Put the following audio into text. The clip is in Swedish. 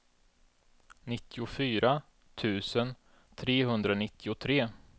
nittiofyra tusen trehundranittiotre